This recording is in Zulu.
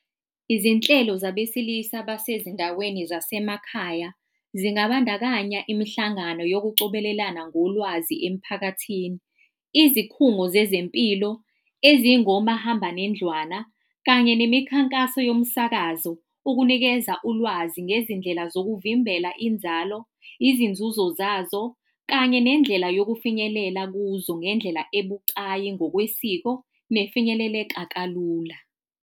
Izinhlelo zabesilisa basezindaweni zasemakhaya zingabandakanya imihlangano yokucobelelana ngolwazi emphakathini, izikhungo zezempilo, ezingomahamba nendlwana kanye nemikhankaso yomsakazo, ukunikeza ulwazi ngezindlela zokuvimbela inzalo, izinzuzo zazo, kanye nendlela yokufinyelela kuzo ngendlela ebucayi ngokwesiko nefinyeleleka kalula.